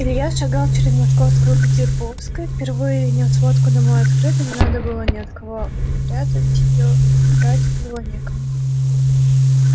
илья шагал через московскую к деповской впервые нёс водку домой открыто не надо было ни от кого прятать её и врать было некому